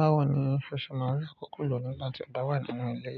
Báwo ni o ṣe máa rí akoko lò nígbà tí ọ ba wà nínú ilé?